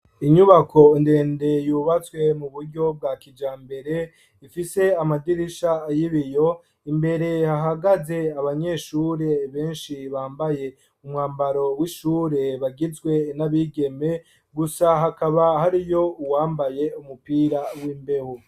Inyubako ndende yubatswe mu buryo bwa kija mbere ifise amadirisha ayibiyo imbere hahagaze abanyeshure benshi bambaye umwambaro w'ishure bagizwe n'abigeme gusa hakaba hari yo uwambaye umupira w'imbehu.